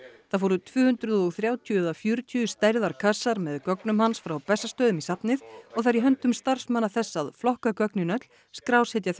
það fóru tvö hundruð og þrjátíu eða fjörutíu stærðar kassar með gögnum hans frá Bessastöðum í safnið og það er í höndum starfsmanna þess að flokka gögnin öll skrásetja þau